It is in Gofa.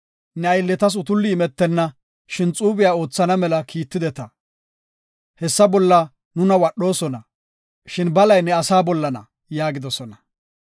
Ne aylletas utulli imetenna, shin xuube oothana mela kiitetida. Hessa bolla nuna wadhosona; shin balay ne asaa bollana” yaagidosona.